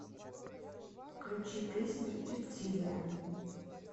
включи песню рептилия